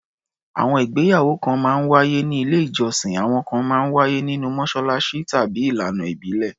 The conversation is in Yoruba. Àwọn ìgbéyàwó kan máa ń wáyé ní ilé-ìjọsìn, àwọn kan máa ń wáyé nínú mọ́ṣáláṣí, tàbí ìlànà ìbílẹ̀.